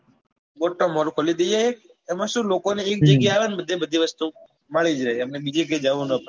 આમ મોટો mall ખોલી દઈએ એક એમાં સું લોકો ને એક જગ્યા એ આવે ને બધે બધી વસ્તુ મળી જાય બીજે ક્યાય જવું નાં પડે